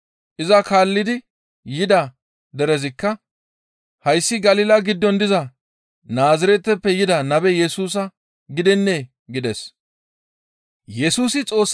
Iza kaallidi yida derezikka, «Hayssi Galila giddon diza Naazireteppe yida Nabe Yesusa gidennee?» gides.